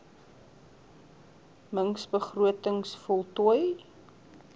mings begrotings voltooi